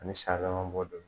Ani san yɛlɛma bɔ don.